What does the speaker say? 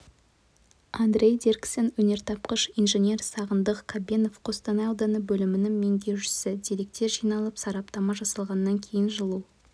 андрей дирксен өнертапқыш инженер сағындық қабенов қостанай ауданы бөлімінің меңгерушісі деректер жиналып сараптама жасалғаннан кейін жылу